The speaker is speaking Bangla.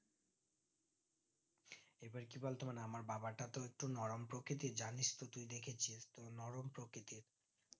এবার কি বলতো মানে আমার বাবাটা তো একটু নরম প্রকৃতির জানিস তো তুই দেখেছিস কেমন নরম প্রকৃতির